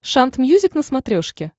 шант мьюзик на смотрешке